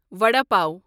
vada pav